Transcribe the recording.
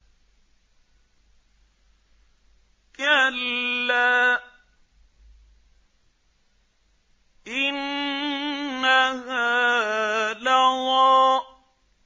كَلَّا ۖ إِنَّهَا لَظَىٰ